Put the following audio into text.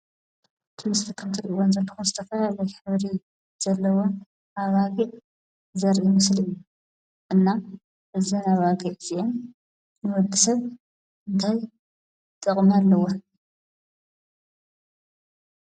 ኣብቲ ምስሊ ከም እትሪእዎን ዘለኩም ዝተፈላለየ ሕብሪ ዘለዎን ኣባጊዕ ዘርኢ ምስሊ እዩ። እና እዘን ኣባጊዕ እዚአን ንወዲ ሰብ ታይ ጥቅሚ ኣለወን?